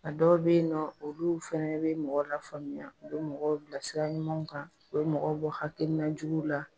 A dɔw be yen nɔ, olu fɛnɛ bi mɔgɔ lafaamuya, u bi mɔgɔw bilasira ɲumanw kan, u bi mɔgɔ bɔ hakilina juguw la